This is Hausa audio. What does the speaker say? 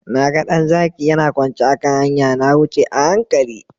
Na ga ɗan zaki yana kwance a kan hanya. Na wuce a hankali.